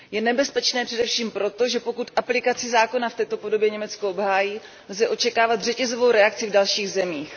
Nebezpečné je především to, že pokud aplikaci zákona v této podobě Německo obhájí, lze očekávat řetězovou reakci v dalších zemích.